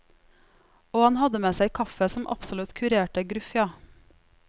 Og han hadde med seg kaffe som absolutt kurerte gruff, ja.